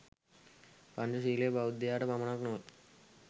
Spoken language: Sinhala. පංචශීලය බෞද්ධයාට පමණක් නොව